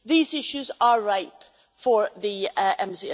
these issues are right for the MC